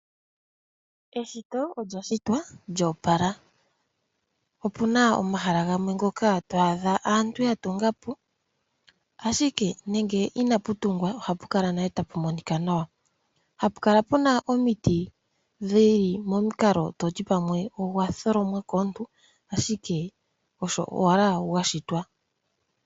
Eshoto olya shitwa lyo opala. Opuna omahala gamwe ngoka to adha aantu ya tunga po ashike nande inapu tungwa ohapu kala nale tapu monika nawa, hapu kala puna omiti dhili momikalo toti pamwe ogwa tholomwa komuntu ashike osho owala gwa shitwa.